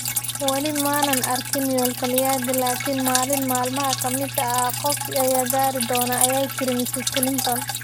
"Weli ma aanaan gaarin yoolkayagii. Laakin maalin maalmaha ka mid ah qof ayaa gaari doona", ayay tiri Mrs. Clinton.